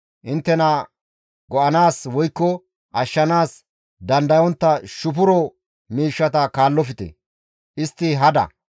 Inttena go7anaas woykko ashshanaas dandayontta shufuro miishshata kaallofte; istti hada.